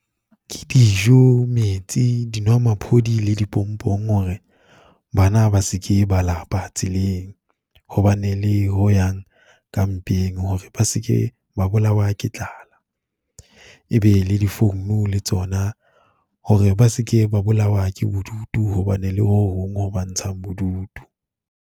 Ke dijo, metsi, dinwamaphodi le dipompong hore bana ba se ke ba lapa tseleng, ho bane le ho yang ka mpeng hore ba se ke ba bolawa ke tlala. E be le difounu le tsona, hore ba se ke ba bolawa ke bodutu ho bane le hohong ho ba ntshang bodutu.